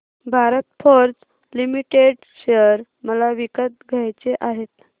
Bharat Forge Limited share मला विकत घ्यायचे आहेत